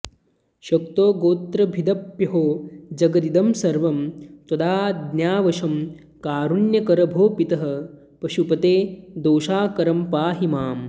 शक्तो गोत्रभिदप्यहो जगदिदं सर्वं त्वदाज्ञावशं कारुण्याकर भो पितः पशुपते दोषाकरं पाहि माम्